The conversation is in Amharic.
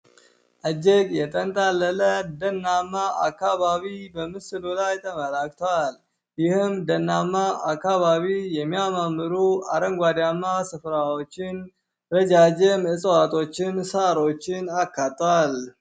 እጅግ የተንጣለለ ደናማ አካባቢ በምስሉ ላይ ተመላክቷል። ይህም ደናማ አካባቢ የሚያማምሩ አረንጓዴማ ስፍራዎችን። ረዣዥም እፅዋቶችን ፣ሳሮችን አካቷል።